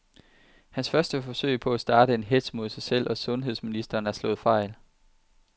Hans første forsøg på at starte en hetz mod sig selv og sundheds ministeren er slået fejl.